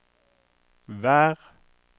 vær